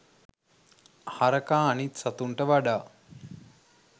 හරකා අනිත් සතුන්ට වඩා